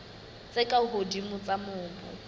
tse ka hodimo tsa mobu